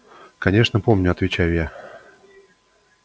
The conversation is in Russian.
конечно помню отвечаю я